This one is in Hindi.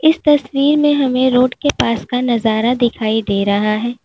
इस तस्वीर में हमें रोड के पास का नजारा दिखाई दे रहा है।